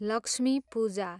Lakshmi Puja